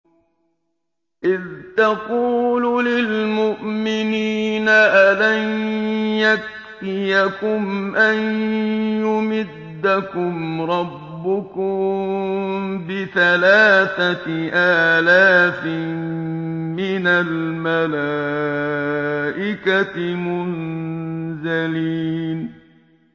إِذْ تَقُولُ لِلْمُؤْمِنِينَ أَلَن يَكْفِيَكُمْ أَن يُمِدَّكُمْ رَبُّكُم بِثَلَاثَةِ آلَافٍ مِّنَ الْمَلَائِكَةِ مُنزَلِينَ